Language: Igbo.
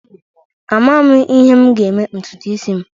Amaghị m ihe m ga-eme ntutu isi m